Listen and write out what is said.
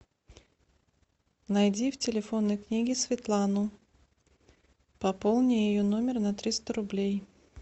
найди в телефонной книге светлану пополни ее номер на триста рублей